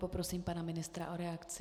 Poprosím pana ministra o reakci.